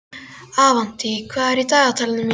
Avantí, hvað er í dagatalinu mínu í dag?